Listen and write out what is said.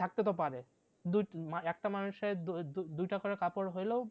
থাকতে তো পারে একটা মানুষের দুই দুইটা করে কাপড় হলেও